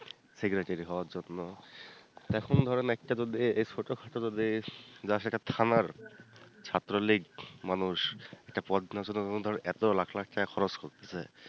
Secretary হওয়ার জন্য এখন ধরেন একটা যদি এই ছোটখাটো যদি just একটা থানার ছাত্রলীগ মানুষ একটা পদ নেয়ার জন্য ধরেন এত লাখ লাখ টাকা খরচ করতেছে